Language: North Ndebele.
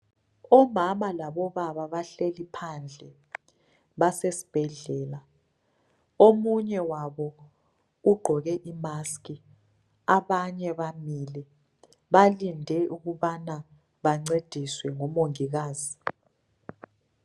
Omama labobaba bahleli phandle ,basesibhedlela. Omunye wabo ugqoke i"mask" ,abanye bamile. Balinde ukubana bancediswe ngumongikazi.